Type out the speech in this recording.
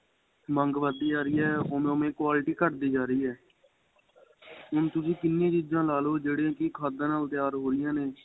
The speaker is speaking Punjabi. ਮੰਗ ਵੱਧ ਦੀ ਜਾਂ ਰਹੀ ਏ ਹੁਣ ਓਵੇ ਓਵੇ quality ਘੱਟ ਦੀ ਜਾਂ ਰਹੀ ਏ ਹੁਣ ਤੁਸੀਂ ਕਿੰਨੇ ਚੀਜਾਂ ਲਾਲੋ ਜਿਹੜੀਆਂ ਕਿ ਖਾਦਾਂ ਨਾਲ ਤਿਆਰ ਹੋ ਰਹੀਆਂ ਨੇ